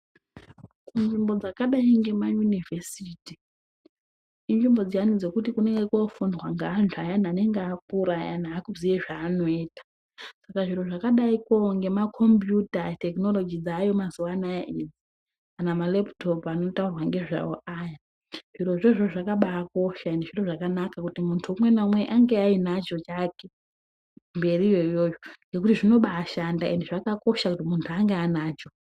Kunzvimbo dzakadai ngemayunivhesiti inzvimbo dziyani dziya dzekuti kunenge kofundwa nevantu vayani vanenge vakura ayani akuzive zvaanoita, saka zvinhu zvakadai ngemacombiyuta, tekinoroji dzavako mazuvano ayani kana mareputopu anotaurwa nezvawo ayani, zviro izvozvo zvo zvakabaakosha ende zvintu zvakakosha kuti muntu umwe neumwe ange ainacho chake mberi iyoyo yo nokuti zvinobaashanda ende zvakakosha kuti muntu ange aanacho.